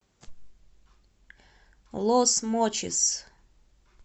лос мочис